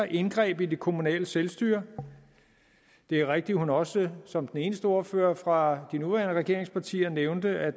indgreb i det kommunale selvstyre det er rigtigt at hun også som den eneste ordfører fra de nuværende regeringspartier nævnte at